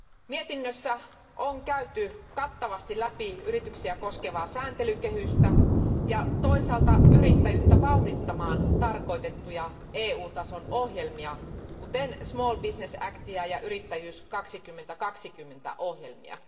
Mietinnössä on käyty kattavasti läpi yrityksiä koskevaa sääntelykehystä ja toisaalta yrittäjyyttä vauhdittamaan tarkoitettuja EU tason ohjelmia, kuten Small Business Actiä ja Yrittäjyys 2020 ohjelmia.